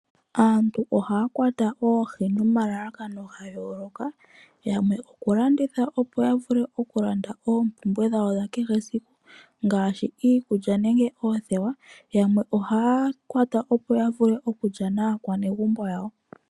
Aantu ohaya kwata oohi nomalalakano ga yooloka. Yamwe oku landitha opo ya vule okulanda oompumbwe dhawo dha kehe esiku ngaashi iikulya nenge oothewa. Yamwe ohaya kwata opo ya vule okulya naakwanezimo yawo.